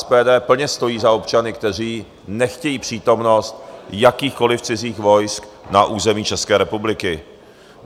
SPD plně stojí za občany, kteří nechtějí přítomnost jakýchkoliv cizích vojsk na území České republiky.